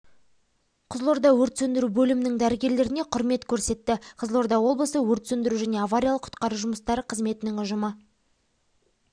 қызылордада өрт сөндіру бөлімінің дәрігерлеріне құрмет көрсетті қызылорда облысы өрт сөндіру және авариялық-құтқару жұмыстары қызметінің ұжымы